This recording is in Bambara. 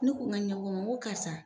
U kun bɛ ɲɔgɔn nko karisa.